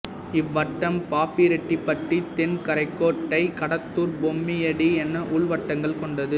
இவ்வட்டம் பாப்பிரெட்டிப்பட்டி தென்கரைக்கோட்டை கடத்தூர் பொம்மிடி என உள்வட்டங்கள் கொண்டது